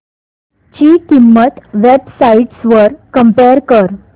ची किंमत web sites वर कम्पेअर कर